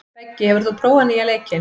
Beggi, hefur þú prófað nýja leikinn?